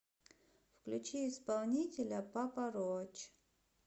включи исполнителя папа роач